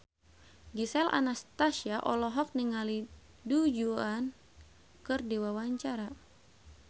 Gisel Anastasia olohok ningali Du Juan keur diwawancara